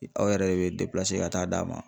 Aw yɛrɛ de bɛ ka taa d'a ma